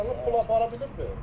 Saxlayıb, pulu apara bilibdir?